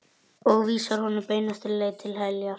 Og vísar honum beinustu leið til heljar.